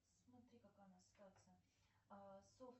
смотри какая у нас ситуация